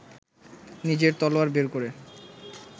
নিজের তলোয়ার বের করে